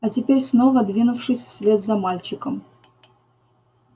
а теперь снова двинувшись вслед за мальчиком